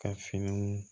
Ka finiw